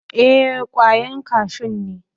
Ee, kwayan kashun ne.